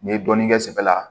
N'i ye dɔɔnin kɛ sɛbɛ la